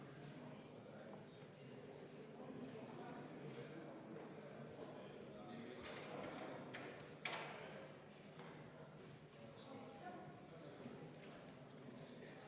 Me oleme kuuenda muudatusettepaneku juures, selle esitajaks on Sotsiaaldemokraatliku Erakonna fraktsioon ja juhtivkomisjon on seda arvestanud täielikult.